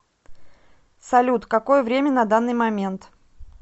салют какое время на данный момент